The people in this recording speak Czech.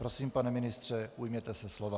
Prosím, pane ministře, ujměte se slova.